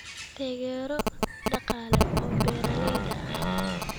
Taageero dhaqaale oo beeralayda ah.